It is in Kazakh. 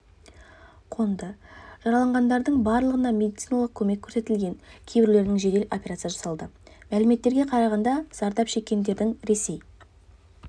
қонды жараланғандардың барлығына медициналық көмек көрсетілген кейбіреуіне жедел операция жасалды мәліметтерге қарағанда зардап шеккендердің ресей